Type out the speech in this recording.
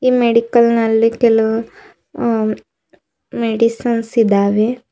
Medical ನಲ್ಲಿ ಕೆಲವು ಅ ಮೆಡಿಸಿನ್ಸ್ ಇದಾವೆ.